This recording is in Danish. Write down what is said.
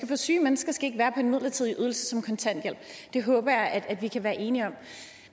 for syge mennesker skal ikke være på en midlertidig ydelse som kontanthjælp det håber jeg at vi kan være enige om